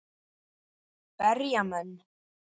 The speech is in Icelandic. Berja menn?